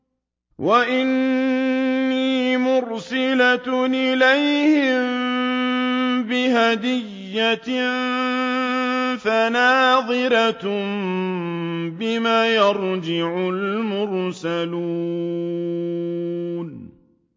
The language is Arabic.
وَإِنِّي مُرْسِلَةٌ إِلَيْهِم بِهَدِيَّةٍ فَنَاظِرَةٌ بِمَ يَرْجِعُ الْمُرْسَلُونَ